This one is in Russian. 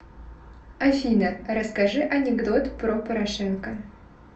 афина расскажи анекдот про порошенко